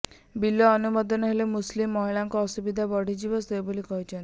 ବିଲ ଅନୁମୋଦନ ହେଲେ ମୁସଲିମ ମହିଳାଙ୍କ ଅସୁବିଧା ବଢିଯିବ ବୋଲି ସେ କହିଛନ୍ତି